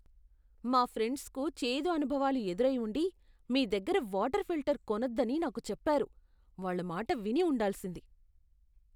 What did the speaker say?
మా ఫ్రెండ్స్కు చేదు అనుభవాలు ఎదురై ఉండి, మీ దగ్గర వాటర్ ఫిల్టర్ కొనొద్దని నాకు చెప్పారు. వాళ్ళ మాట విని ఉండాల్సింది.